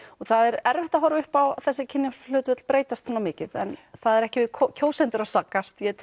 það er erfitt að horfa upp á þessu kynjahlutföll breytast svona mikið en það er ekki við kjósendur að sakast ég